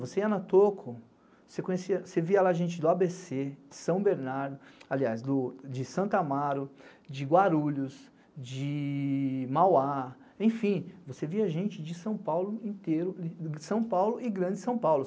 Você ia na Toco, você via lá gente do ábêcê, de São Bernardo, aliás, de Santamaro, de Guarulhos, de Mauá, enfim, você via gente de São Paulo inteiro, de São Paulo e Grande São Paulo.